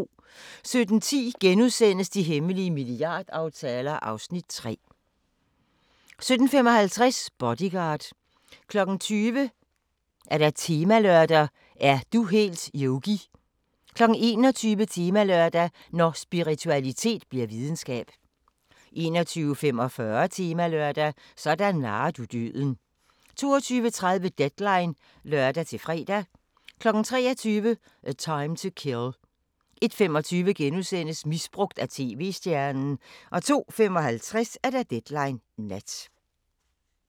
17:10: De hemmelige milliardaftaler (Afs. 3)* 17:55: Bodyguard 20:00: Temalørdag: Er du helt Yogi? 21:00: Temalørdag: Når spiritualitet bliver videnskab 21:45: Temalørdag: Sådan narrer du døden 22:30: Deadline (lør-fre) 23:00: A Time to Kill 01:25: Misbrugt af tv-stjernen * 02:55: Deadline Nat